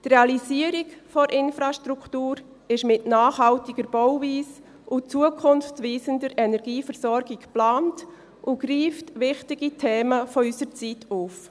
Die Realisierung der Infrastruktur ist mit nachhaltiger Bauweise und zukunftweisender Energieversorgung geplant und greift wichtige Themen unserer Zeit auf.